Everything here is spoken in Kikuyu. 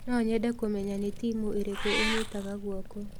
No nyende kũmenya nĩ timu ĩrĩkũ ũnyitaga guoko.